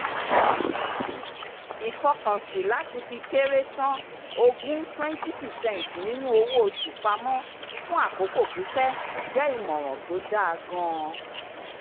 ìfọkànsìn lati fi kéré tán ogún [20 percent] nínú owó oṣù pamọ́ fún àkókò pípẹ̀ jẹ́ ìmòràn tó dáa gan-an